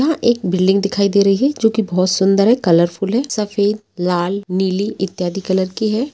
यहाँ एक बिल्डिंग दिखाई दे रही है जो की बहोत सुंदर है कलरफुल है सफेद लाल नीली इत्यादि कलर की है।